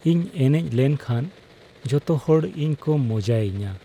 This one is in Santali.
ᱤᱧ ᱮᱱᱮᱡ ᱞᱮᱱᱠᱷᱟᱱ ᱡᱚᱛᱚ ᱦᱚᱲ ᱤᱧ ᱠᱚ ᱢᱚᱡᱟᱭᱤᱧᱟ ᱾